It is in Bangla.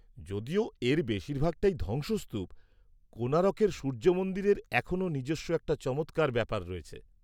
-যদিও এর বেশিরভাগটাই ধ্বংসস্তূপ, কোণারকের সূর্য মন্দিরের এখনও নিজস্ব একটা চমৎকার ব্যাপার রয়েছে।